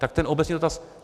Tak ten obecný dotaz.